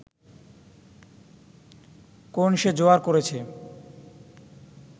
কোন সে জোয়ার করেছে